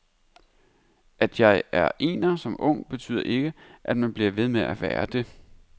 At man er ener som ung betyder ikke, at man bliver ved med at være det.